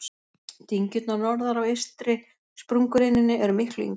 dyngjurnar norðar á eystri sprungureininni eru miklu yngri